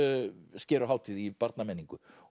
uppskeruhátíð í barnamenningu